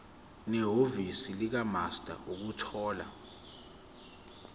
nehhovisi likamaster ukuthola